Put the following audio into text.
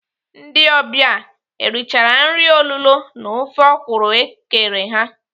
Ndị ọbịa erichara nri olulo na ofe ọkwụrụ ekere ha?